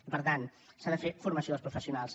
i per tant s’ha de fer formació als professionals